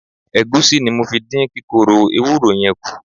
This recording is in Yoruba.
Ẹ̀gúsí ni mo fi dín kíkorò ewúró yẹn kù.